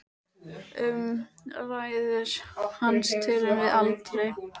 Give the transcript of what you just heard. Um ræður hans tölum við aldrei.